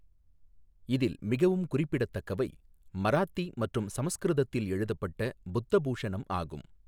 இதில் மிகவும் குறிப்பிடத்தக்கவை மராத்தி மற்றும் சமஸ்கிருதத்தில் எழுதப்பட்ட புத்தபூஷணம் ஆகும்.